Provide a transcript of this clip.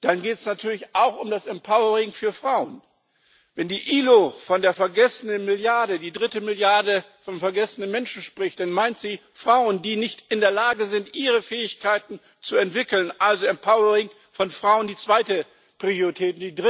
Dann geht es natürlich auch um das empowering für Frauen. Wenn die IAO von der vergessenen Milliarde, der dritten Milliarde von vergessenen Menschen, spricht, dann meint sie Frauen, die nicht in der Lage sind, ihre Fähigkeiten zu entwickeln also empowering von Frauen, die zweite Priorität.